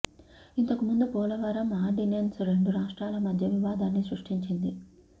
ఇంతకు ముందు పోలవరం ఆర్డినెన్స్ రెండు రాష్ట్రాల మధ్య వివాదాన్ని సృష్టించింది